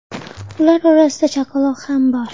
Ular orasida chaqaloq ham bor.